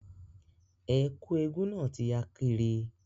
Ẹ̀kú eégún náà ti ya kiri